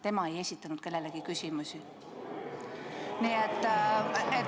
Tema ei esitanud kellelegi küsimusi.